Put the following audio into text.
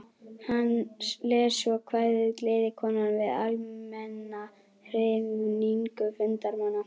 Hann les svo kvæðið Gleðikonan við almenna hrifningu fundarmanna.